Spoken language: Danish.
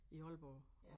I Aalborg